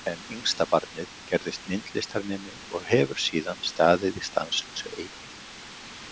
En yngstabarnið gerðist myndlistarnemi og hefur síðan staðið í stanslausu eipi.